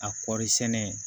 A kɔɔri sɛnɛ